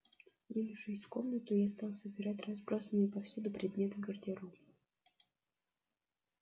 двинувшись в комнату я стал собирать разбросанные повсюду предметы гардероба